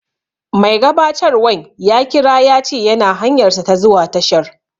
Mai gabatarwan ya kira ya ce yana hanyarsa ta zuwa tashar